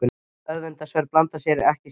Öfundsverð blanda ekki satt?